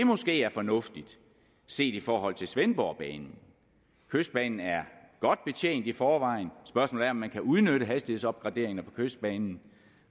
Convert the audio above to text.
måske er fornuftigt set i forhold til svendborgbanen kystbanen er godt betjent i forvejen og spørgsmålet er om man kan udnytte hastighedsopgraderinger på kystbanen